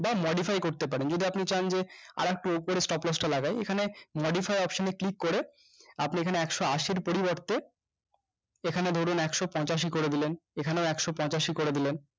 বা modify করতে পারেন যদি আপনি চান যে আরেকটু উপরে stop loss টা লাগাই এখানে modify option এ click করে আপনি এখানে একশো আশির পরিবর্তে এখানে ধরুন একশো পঞ্চাশ ই করে দিলেন এখানেও একশো পঞ্চাশ ই করে দিলেন